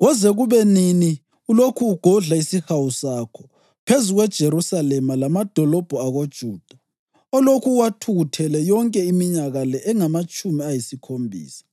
koze kube nini ulokhu ugodla isihawu sakho phezu kweJerusalema lamadolobho akoJuda olokhu uwathukuthelele yonke iminyaka le engamatshumi ayisikhombisa?”